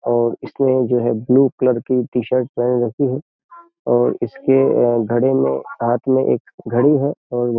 और इसमें जो है ब्लू कलर की टी-शर्ट पहन रखी है और इसके घड़े में हाथ में एक घड़ी है और --